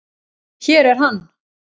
Hér er hann.